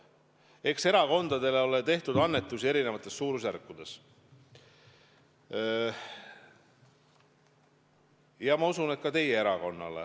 Eks erakondadele ole tehtud annetusi eri suurusjärkudes, ma usun, et ka teie erakonnale.